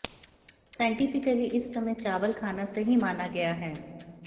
scientifically इस समय चावल खाना सही माना गया है